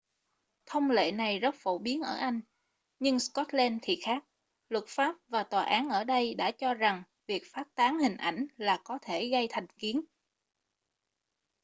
thông lệ này rất phổ biến ở anh nhưng scotland thì khác luật pháp và tòa án ở đây đã cho rằng việc phát tán hình ảnh là có thể gây thành kiến